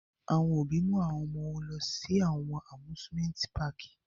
Awọn obi mu awọn ọmọ wọn lọ si awọn Amusimenti Pààki